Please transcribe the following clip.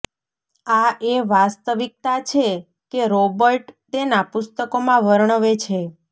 આ એ વાસ્તવિકતા છે કે રોબર્ટ તેના પુસ્તકોમાં વર્ણવે છે